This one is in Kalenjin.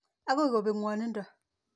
Akoi kopek ng'wanindo.